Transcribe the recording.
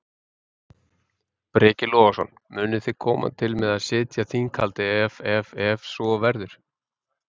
Breki Logason: Munuð þið koma til með að sitja þinghaldið ef ef ef svo verður?